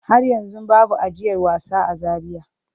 Har yanzu babu ajiyar wasa a Zaria.